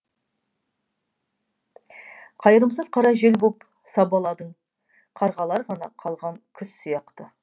қайырымсыз қара жел боп сабаладың қарғалар ғана қалған күз сияқты